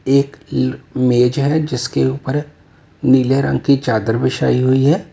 एक मेज है जिसके ऊपर नीले रंग की चादर बिछाई हुई है।